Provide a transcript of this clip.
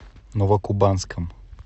новокубанском